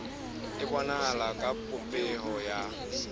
e bonahala ka popeho ya